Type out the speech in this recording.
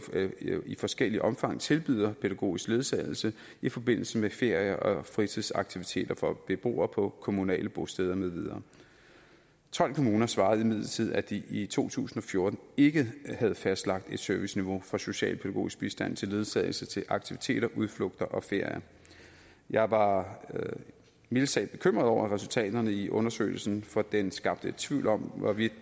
i forskelligt omfang tilbyder pædagogisk ledsagelse i forbindelse med ferier og fritidsaktiviteter for beboere på kommunale bosteder med videre tolv kommuner svarede imidlertid at de i to tusind og fjorten ikke havde fastlagt et serviceniveau for socialpædagogisk bistand til ledsagelse til aktiviteter udflugter og ferier jeg var mildest talt bekymret over resultaterne i undersøgelsen for den skabte tvivl om hvorvidt